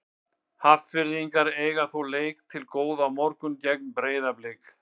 Hafnfirðingar eiga þó leik til góða á morgun gegn Breiðablik.